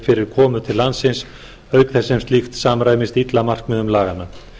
fyrir komu til landsins auk þess sem slíkt samræmist illa markmiðum laganna